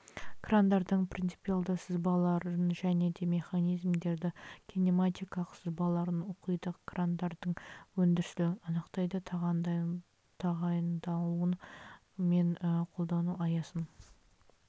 крандардың принципиалды сызбаларын және де механизмдердің кинематикалық сызбаларын оқиды крандардың өндірістілігін анықтайды тағайындалуы мен қолдану аясын